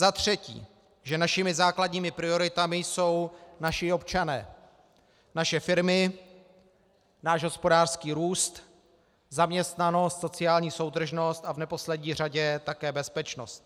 Za třetí, že našimi základními prioritami jsou naši občané, naše firmy, náš hospodářský růst, zaměstnanost, sociální soudržnost a v neposlední řadě také bezpečnost.